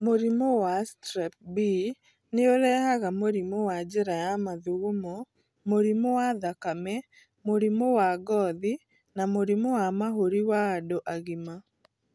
Mũrimũ wa Strep B nĩ ũrehaga mũrimi wa njira ya mathugumo, mũrimo wa thakame, mũrimo wangothi na mũrimũ wa mahũri wa andũ agima.